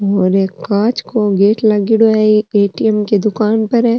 और एक कांच को गेट लागेड़ा है एक एटीएम की दुकान पर है।